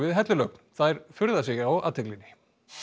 hellulögn þær furða sig á athyglinni